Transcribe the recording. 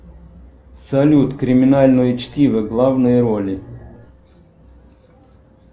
салют криминальное чтиво главные роли